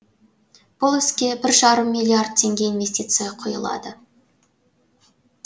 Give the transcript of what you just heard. бұл іске бір жарым миллиард теңге инвестиция құйылады